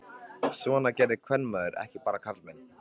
Svona gerði kvenmaður ekki, bara karlmenn.